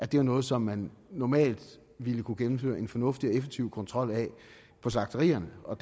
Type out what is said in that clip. det er noget som man normalt ville kunne gennemføre en fornuftig og effektiv kontrol af på slagterierne og